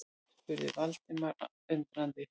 spurði Valdimar undrandi.